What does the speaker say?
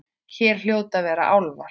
Hér hljóta að vera álfar.